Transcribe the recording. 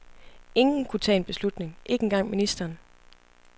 Ingen kunne tage en beslutning, ikke engang ministeren.